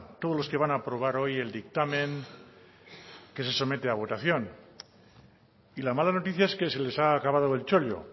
todos los que van aprobar hoy el dictamen que se somete a votación y la mala noticia es que se les ha acabado el chollo